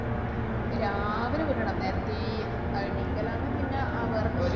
ഉം രാവിലെ വിടണം. നേരത്തേയീ. ആഹ് എണീക്കലാണ് പിന്ന ആഹ് വേറെ പ്ര~